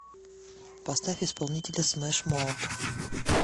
поставь исполнителя смэш моут